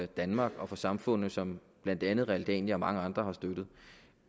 danmark og for samfundet og som blandt andet realdania og mange andre har støttet